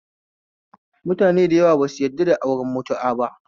Mutanen sunnah dayawan su basu yadda auren mutu'a ba